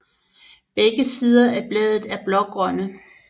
Begge sider af bladet er blågrønne